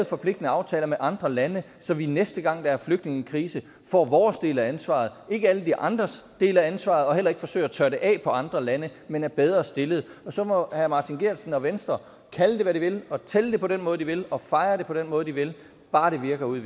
forpligtende aftaler med andre lande så vi næste gang der er en flygtningekrise får vores del af ansvaret altså ikke alle de andres dele af ansvaret og vi heller ikke forsøger at tørre det af på andre lande men er bedre stillet så må herre martin geertsen og venstre kalde det hvad de vil og tælle det på den måde de vil og fejre det på den måde de vil bare det virker ude